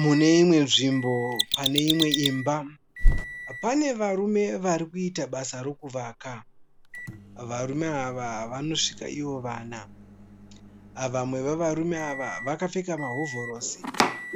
Mune imwe nzvimbo pane imwe imba. Pane varume varikuita basa rokuvaka. Varume ava vanosvika ivo vana. Vamwe wevarume ava vakapfeka mahovhorosi